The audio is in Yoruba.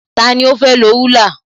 Tani ó fẹ́ lọ rúlà?